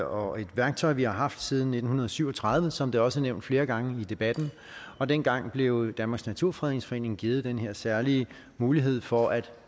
og et værktøj vi har haft siden nitten syv og tredive som det også er nævnt flere gange i debatten og dengang blev danmarks naturfredningsforening givet den her særlige mulighed for at